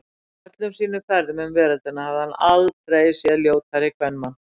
Á öllum sínum ferðum um veröldina hafði hann aldrei séð ljótari kvenmann.